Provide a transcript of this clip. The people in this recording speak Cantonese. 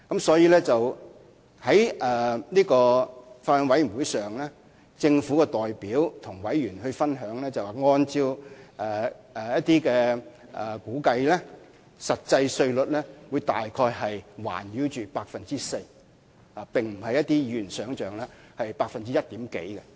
所以，在法案委員會上，政府的代表便曾告知委員，按照一些估計，實際稅率約為 4%， 並非如一些議員想象的只是略高於 1%。